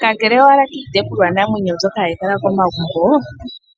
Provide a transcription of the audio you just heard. Kakele owala kiitekulwa namwenyo mbyoka hayi kala momagumbo ,